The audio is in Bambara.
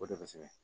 O de bɛ sɛgɛ